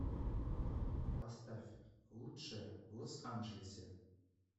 поставь лучшие в лос анджелесе